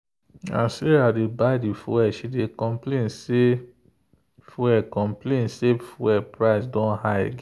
as sarah dey buy fuel she dey complain say fuel complain say fuel price don high again.